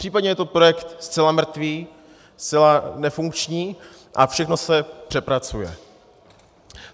Případně je to projekt zcela mrtvý, zcela nefunkční a všechno se přepracuje?